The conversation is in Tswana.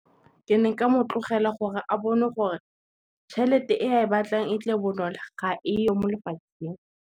Ke ne nka mo tlogela gore a bone gore, tšhelete e a e batlang e tle bonolo ga e yo mo lefatsheng.